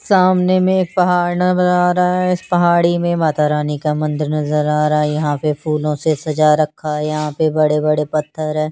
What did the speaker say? सामने में एक पहाड़ नजर आ रहा हैं इस पहाड़ी में माता रानी का मंदिर नजर आ रहा हैं यहाँ पे फूलो से सजा रखा हैं यहाँ पे बड़े बड़े पत्थर हैं।